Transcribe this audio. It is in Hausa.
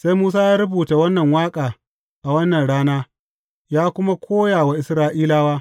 Sai Musa ya rubuta wannan waƙa a wannan rana, ya kuma koya wa Isra’ilawa.